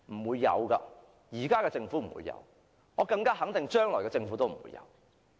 現在的政府不會有，我可以肯定將來的政府也不會有。